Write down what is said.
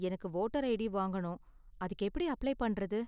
எனக்கு voter ID வாங்கணும், அதுக்கு எப்படி அப்ளை பண்றது?